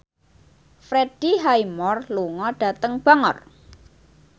Freddie Highmore lunga dhateng Bangor